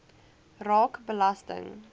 raak belasting